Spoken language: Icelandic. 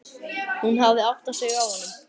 Hún hafði áttað sig á honum.